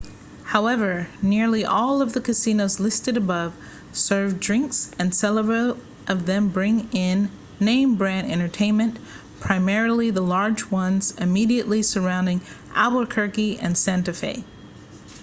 however nearly all of the casinos listed above serve drinks and several of them bring in name-brand entertainment primarily the large ones immediately surrounding albuquerque and santa fe